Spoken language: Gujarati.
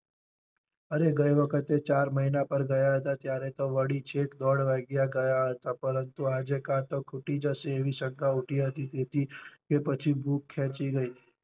અરે ગઈ વખતે ચાર મહિના પર ગયા હતા ત્યારે તો વળી છેક દોઢ વાગ્યે ગયા હતા પરંતુ આજે કા તો ખૂટી જશે એવી શંકા ઉઠી હતી તેથી કે પછી ભૂખ ખેચી ગઈ.